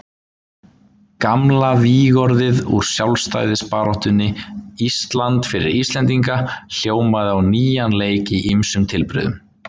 Gamla vígorðið úr sjálfstæðisbaráttunni, Ísland fyrir Íslendinga, hljómaði á nýjan leik í ýmsum tilbrigðum.